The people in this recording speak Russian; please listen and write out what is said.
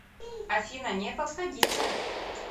афина не подходите